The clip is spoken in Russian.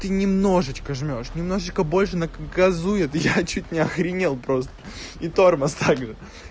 ты немножечко жмёшь немножечко больше нв газует я чуть не охренел просто и тормоз так же ха-ха